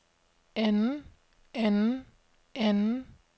anden anden anden